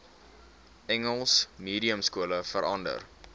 engels mediumskole verander